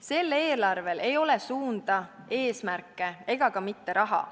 Sel eelarvel ei ole suunda, eesmärke ega ka mitte raha.